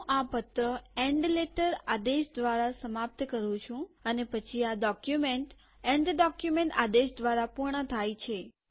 હું આ પત્ર એન્ડ લેટર આદેશ દ્વારા સમાપ્ત કરું છું અને પછી આ ડોક્યુમેન્ટ એન્ડ ડોક્યુમેન્ટ આદેશ દ્વારા પૂર્ણ થાય છે